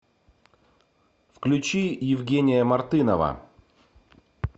включи евгения мартынова